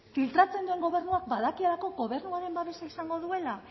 filtratzen duen gobernuak badakielako gobernuaren babesa izango duela